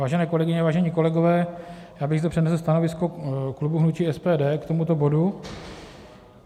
Vážené kolegyně, vážení kolegové, já bych zde přednesl stanovisko klubu hnutí SPD k tomuto bodu.